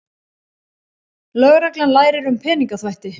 Lögreglan lærir um peningaþvætti